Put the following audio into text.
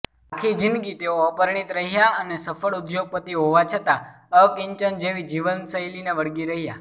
આખી જિંદગી તેઓ અપરિણીત રહ્યા અને સફ્ળ ઉદ્યોગપતિ હોવા છતાં અકિંચન જેવી જીવનશૈલીને વળગી રહ્યા